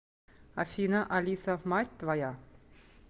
афина алиса мать твоя